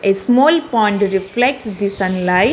A small pond reflects the sunlight.